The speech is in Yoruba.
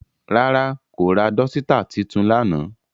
Rara, ko ra dọsitạ titun lana.